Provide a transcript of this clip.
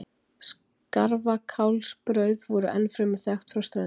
Skarfakálsbrauð voru ennfremur þekkt frá Ströndum.